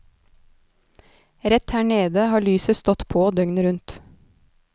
Rett her nede har lyset stått på døgnet rundt.